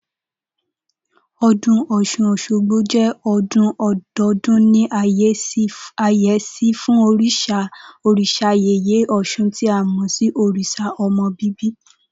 O̩dún Ò̩s̩un-os̩ógbo jé̩ o̩dún o̩do̩o̩dún ní àyé̩sí fún òrìs̩a yèyé ò̩s̩un tí a mò̩ sí òrìs̩à o̩mo̩ bíbí